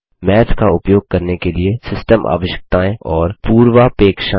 माथ का उपयोग करने के लिए सिस्टम आवश्यकताएं और पूर्वापेक्षाएँ